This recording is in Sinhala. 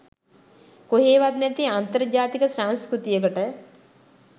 කොහේවත් නැති අන්තර් ජාතික සංස්කෘතියකට